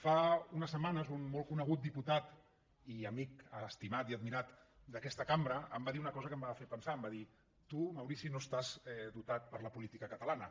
fa unes setmanes un molt conegut diputat i amic estimat i admirat d’aquesta cambra em va dir una cosa que em va fer pensar em va dir tu maurici no estàs dotat per a la política catalana